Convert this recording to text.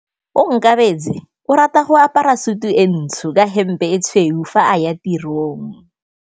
Onkabetse o rata go apara sutu e ntsho ka hempe e tshweu fa a ya tirong.